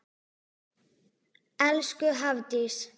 Elsku Hafdís.